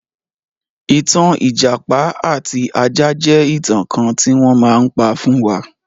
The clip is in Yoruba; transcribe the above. Ìtàn ìjàpá àti ajá jẹ́ ìtàn kan tí wọ́n má ń pa fún wa.